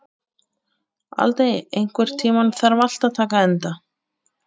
Aldey, einhvern tímann þarf allt að taka enda.